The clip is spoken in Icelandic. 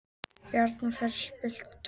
Bjarnfreður, spilaðu tónlist.